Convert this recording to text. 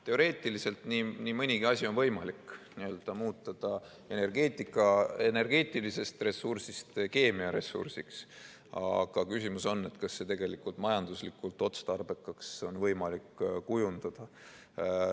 Teoreetiliselt on nii mõnigi asi võimalik, n‑ö muuta ta energeetilisest ressursist keemiaressursiks, aga küsimus on, kas see tegelikult on võimalik majanduslikult otstarbekaks kujundada.